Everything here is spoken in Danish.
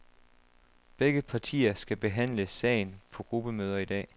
Begge partier skal behandle sagen på gruppemøder i dag.